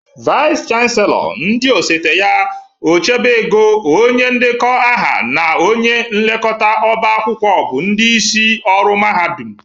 Vais chanselọ, ndị osote ya, ochebe ego, onye ndekọ aha na onye nlekọta ọba akwụkwọ bụ ndịisi ọrụ mahadụm.